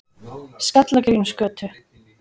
Skallagrímsgötu